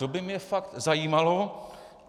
To by mě fakt zajímalo.